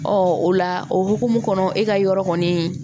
Ɔ o la o hukumu kɔnɔ e ka yɔrɔ kɔni